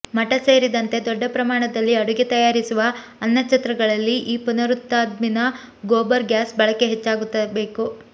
ಮಠ ಸೇರಿದಂತೆ ದೊಡ್ಡ ಪ್ರಮಾಣದಲ್ಲಿ ಅಡುಗೆ ತಯಾರಿಸುವ ಅನ್ನಛತ್ರಗಳಲ್ಲಿ ಈ ಪುನರುತ್ಪಾದಿನ ಗೋಬರ್ ಗ್ಯಾಸ್ ಬಳಕೆ ಹೆಚ್ಚಾಗಬೇಕು